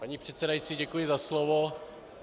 Paní předsedající, děkuji za slovo.